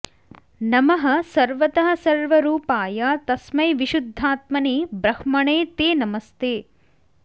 नमः सर्वतः सर्वरूपाय तस्मै विशुद्धात्मने ब्रह्मणे ते नमस्ते